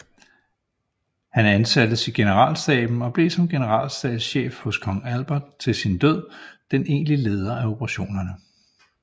Han ansattes i generalstaben og blev som generalstabschef hos kong Albert til sin død den egentlige leder af operationerne